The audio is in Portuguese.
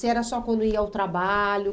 Se era só quando ia ao trabalho?